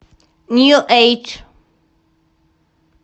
нью эйдж